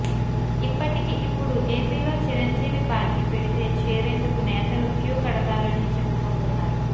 ఇప్పటికి ఇప్పుడు ఏపీలో చిరంజీవి పార్టీ పెడితే చేరేందుకు నేతలు క్యూ కడతారని చెప్పుకుంటున్నారు